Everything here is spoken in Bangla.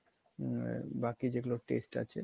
বাকি যেগুলো test আছে